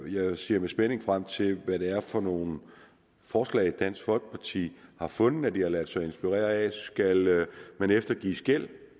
jeg ser med spænding frem til hvad det er for nogle forslag dansk folkeparti har fundet frem til at lade sig inspirere af skal man eftergives gæld